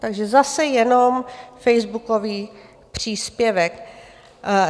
Takže zase jenom facebookový příspěvek.